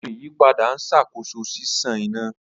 Awọn iyipada n ṣakoso ṣiṣan ina.